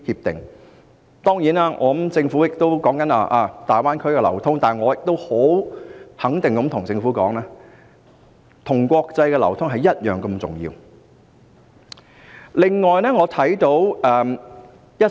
當然，政府現時經常談論大灣區的流通，但我可以肯定地告訴政府，國際流通是同樣重要的。